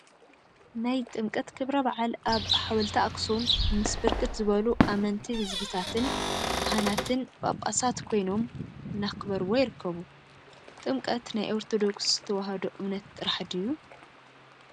ናይ ጥምቀት ክብረ በዓል አብ ሓወልቲ አክሱም ምስ ብርክት ዝበሉ አመንቲ ህዝቢታትን ካህናትን ጳጳሳት ኮይኖም እናክበርዎ ይርከቡ፡፡ ጥምቀት ናይ ኦርቶዶክድ ተዋህዳ እምነት ጥራሕ ድዩ?